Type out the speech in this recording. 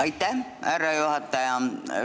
Aitäh, härra juhataja!